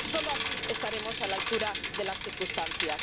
Solo así estaremos a la altura de las circunstancias.